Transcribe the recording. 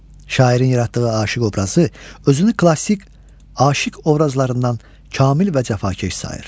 Şairin yaratdığı aşıq obrazı özünü klassik aşıq obrazlarından kamil və cəfakeş sayır.